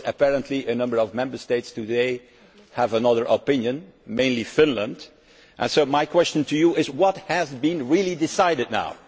Apparently a number of Member States today have another opinion mainly Finland. My question to you is what has been really decided now?